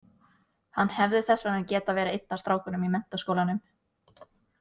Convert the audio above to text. Hann hefði þess vegna getað verið einn af strákunum í menntaskólanum.